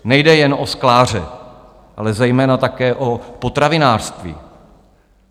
Nejde jen o skláře, ale zejména také o potravinářství.